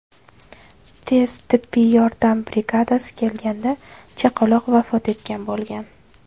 Tez tibbiy yordam brigadasi kelganda chaqaloq vafot etgan bo‘lgan.